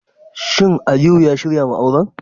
Shin Aliyu ya shirya wa auren?